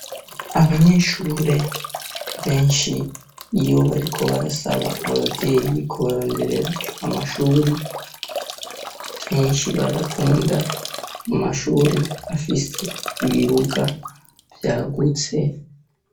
Abanyeshure benshi iyo bariko barasaba abavyeyi kubaronderera amashuri kenshi barakunda mu mashuri afise ibibuga vyagutse.